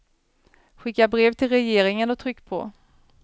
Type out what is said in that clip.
Skicka brev till regeringen och tryck på.